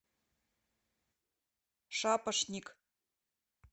шапошник